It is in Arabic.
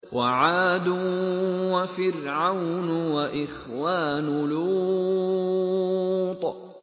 وَعَادٌ وَفِرْعَوْنُ وَإِخْوَانُ لُوطٍ